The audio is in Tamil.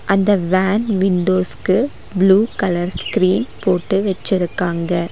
அந்த வேன் விண்டோஸ்கு ப்ளூ கலர் ஸ்கிரீன் போட்டு வெச்சுருக்காங்க.